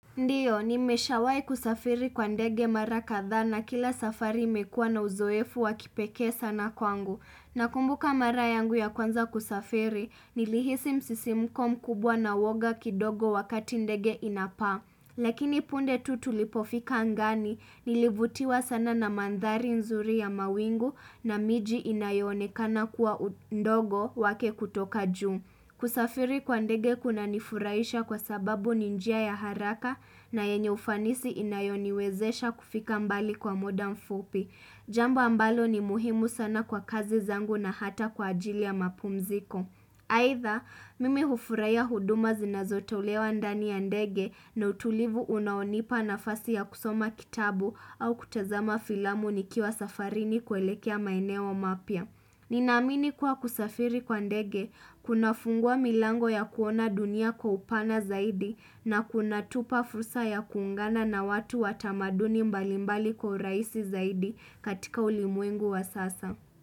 Ndiyo, nimeshawahi kusafiri kwa ndege mara kadhaa na kila safari imekuwa na uzoefu wa kipekee sana kwangu. Nakumbuka mara yangu ya kwanza kusafiri, nilihisi msisimko mkubwa na uoga kidogo wakati ndege inapaa. Lakini punde tu tulipofika angani, nilivutiwa sana na mandhari nzuri ya mawingu na miji inayonekana kuwa ndogo wake kutoka juu. Kusafiri kwa ndege kuna nifurahisha kwa sababu ni njia ya haraka na yenye ufanisi inayoniwezesha kufika mbali kwa muda mfupi. Jambo ambalo ni muhimu sana kwa kazi zangu na hata kwa ajili ya mapumziko. Aitha, mimi hufurahia huduma zinazotolewa ndani ya ndege na utulivu unaonipa nafasi ya kusoma kitabu au kutazama filamu nikiwa safarini kuelekea maeneo mapya. Nina amini kuwa kusafiri kwa ndege kuna fungua milango ya kuona dunia kwa upana zaidi na kuna tupa fursa ya kuungana na watu watamaduni mbalimbali kwa urahisi zaidi katika ulimwengu wa sasa.